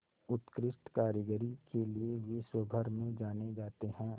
उत्कृष्ट कारीगरी के लिये विश्वभर में जाने जाते हैं